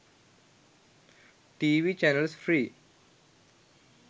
tv channels free